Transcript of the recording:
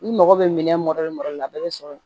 I mago bɛ minɛn la a bɛɛ bɛ sɔrɔ yen